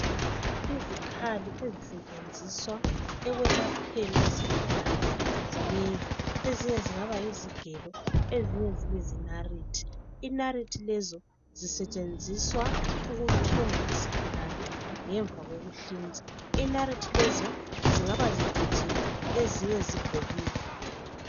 Izikhali ezisetshenziswa ekulapheni izigulane zinengi. Ezinye zingaba yizigelo, ezinye zibe zinalithi. Inalithi lezo zisetshenziswa ukuthunga isigulane ngemva kokuhlinzwa. Inalithilezo zingaba zicijile ezinye zigobile.